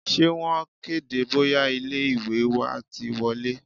Ṣé wọn kéde bóyá ilé ìwé wa ti wọlé?